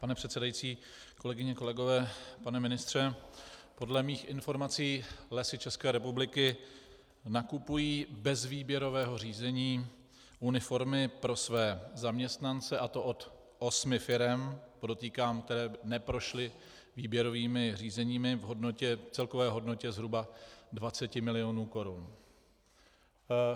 Pane předsedající, kolegyně, kolegové, pane ministře, podle mých informací Lesy České republiky nakupují bez výběrového řízení uniformy pro své zaměstnance, a to od osmi firem, podotýkám, které neprošly výběrovými řízeními, v celkové hodnotě zhruba 20 milionů korun.